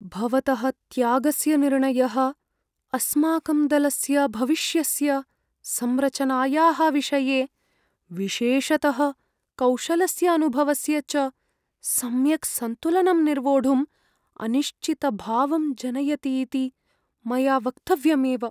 भवतः त्यागस्य निर्णयः अस्माकं दलस्य भविष्यस्य संरचनायाः विषये, विशेषतः कौशलस्य अनुभवस्य च सम्यक् सन्तुलनं निर्वोढुम् अनिश्चितभावं जनयति इति मया वक्तव्यमेव।